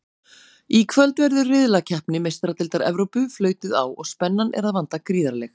Í kvöld verður riðlakeppni Meistaradeildar Evrópu flautuð á og spennan er að vanda gríðarleg!